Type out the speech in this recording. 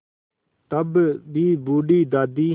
तब भी बूढ़ी दादी